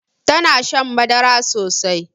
Tana shan madara sosai